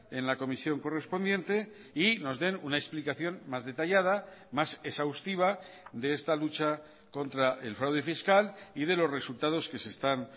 en la comisión correspondiente y nos den una explicación más detallada más exhaustiva de esta lucha contra el fraude fiscal y de los resultados que se están